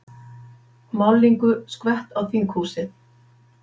Málningu skvett á þinghúsið